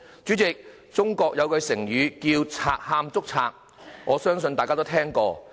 主席，中國有句成語叫"賊喊捉賊"，我相信大家都聽過。